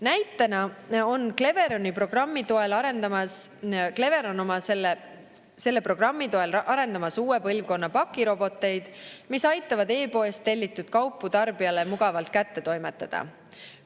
Näitena on Cleveron oma programmi toel arendamas uue põlvkonna pakiroboteid, mis aitavad e-poest tellitud kaupu tarbijale mugavalt kätte toimetada.